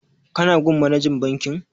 Ka na gun manajan bankin?